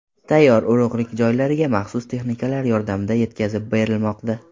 Tayyor urug‘lik joylarga maxsus texnikalar yordamida yetkazib berilmoqda.